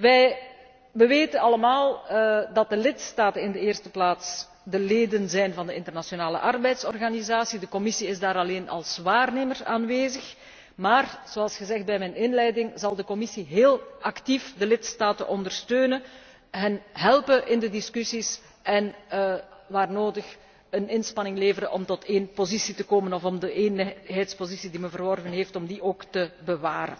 Wij weten allemaal dat de lidstaten in de eerste plaats de leden zijn van de Internationale Arbeidsorganisatie. De Commissie is daar alleen als waarnemer aanwezig. Maar, zoals gezegd in mijn inleiding, zal de Commissie heel actief de lidstaten ondersteunen, hen helpen in de discussies en waar nodig een inspanning leveren om tot één positie te komen of om de eenheidspositie die men verworven heeft, te bewaren.